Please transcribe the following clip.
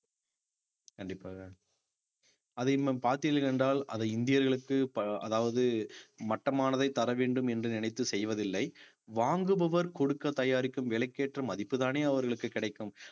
கண்டிப்பாக அதை நாம் பார்த்தீர்கள் என்றால் அது இந்தியர்களுக்கு ப~ அதாவது மட்டமானதை தரவேண்டும் என்று நினைத்து செய்வதில்லை வாங்குபவர் கொடுக்க தயாரிக்கும் விலைக்கேற்ற மதிப்புதானே அவர்களுக்கு கிடைக்கும்